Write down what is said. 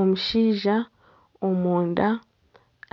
Omushaija omunda